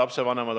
Aitäh!